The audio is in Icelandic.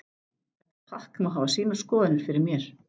Þetta pakk má hafa sínar skoðanir fyrir mér.